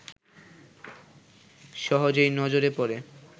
সহজেই নজরে পড়ে